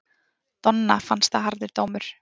Donna fannst það harður dómur.